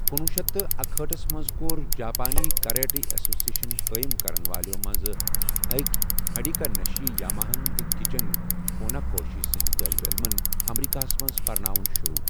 کنوُہ شیتھ تہٕ اکہأٹھ ہس منز كو٘ر، جاپٲنی كراٹے ایسوسیشن قٲیِم كرن والیو منزٕ اكہِ ہِدیٹكا نَشی یاماہن تہٕ گِچِن فوناكوشی سندِ طالب علمن ، امریكاہس منز پرناوُن شروع ۔